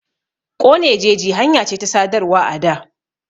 Ƙone jeji hanya ce ta sadarwa a da.